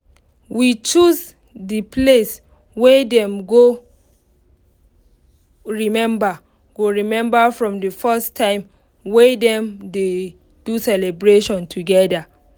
we choose the place wey dem go remember go remember from the first times wey dem dey do celebration together